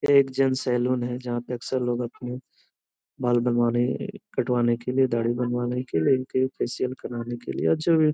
एक gents salon है जहां पे अक्सर लोग अपने बाल बनवाने कटवाने के के लिए दाढ़ी बनवाने के लिए इनके फेसिअल फैशियल करवाने के लिए और जो भी --